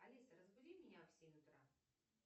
алиса разбуди меня в семь утра